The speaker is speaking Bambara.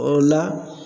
O la